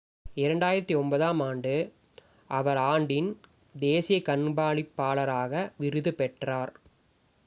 2009 ஆம் ஆண்டு அவர் ஆண்டின் தேசிய கண்காணிப்பாளராக விருது பெற்றார்